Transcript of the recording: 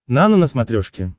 нано на смотрешке